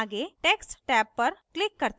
आगे text tab पर click करते हैं